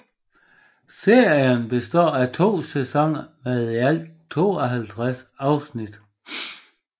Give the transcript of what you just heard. Serien består af 2 sæsoner med i alt 52 afsnit